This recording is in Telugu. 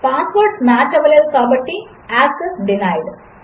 పాస్వర్డ్లుమ్యాచ్అవలేదుకాబట్టిAccess డీనైడ్